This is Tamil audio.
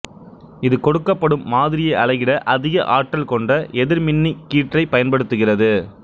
இது கொடுக்கப்படும் மாதிரியை அலகிட அதிக ஆற்றல் கொண்ட எதிர்மின்னி கீற்றைப் பயன்படுத்துகிறது